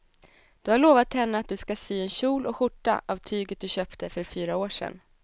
Du har lovat henne att du ska sy en kjol och skjorta av tyget du köpte för fyra år sedan.